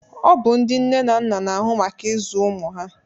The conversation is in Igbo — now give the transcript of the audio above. Ọ bụ ndị nne na nna na-ahụ maka ịzụ ụmụ ha